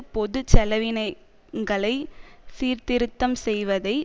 பொது செலவினங்களை சீர்திருத்தம் செய்வதை